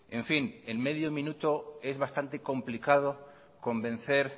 en fin en medio minuto es bastante complicado convencer